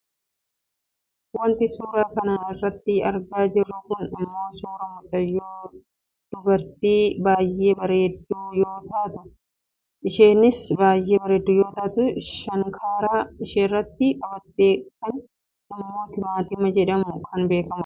Wanti nuti suura kana irratti argaa jirru kun ammoo suuraa mucayyoo duabraati. Mucayyoon dubaraa kun mucayyoo baayyee bareeddu yoo taatu. Kan isheenharka isheerratti qabattee jirtu ammoo timaatimii jedhamuun kan beekkamu dha.